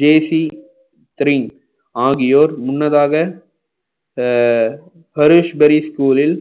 ஜேசி திரீம் ஆகியோர் முன்னதாக அஹ் பூரில்